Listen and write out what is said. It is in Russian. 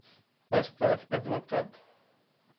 поставь адвокат